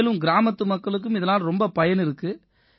மேலும் கிராமத்து மக்களுக்கும் இதனால ரொம்ப பயன் இருக்கு